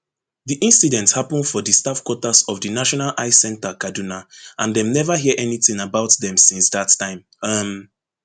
di incident happun for di staff quarters of di national eye centre kaduna and dem neva hear anytin about dem since dat time um